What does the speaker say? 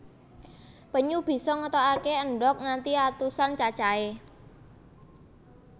Penyu bisa ngetokaké endhog nganti atusan cacahé